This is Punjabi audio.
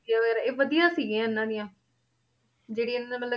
ਗਿਆ ਵਗ਼ੈਰਾ, ਇਹ ਵਧੀਆ ਸੀਗੀਆਂ ਇਹਨਾਂ ਦੀਆਂ ਜਿਹੜੀ ਇਹਨਾਂ ਮਤਲਬ